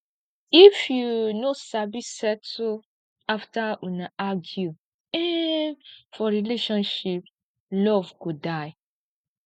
if you no sabi settle after una argue um for relationship love go die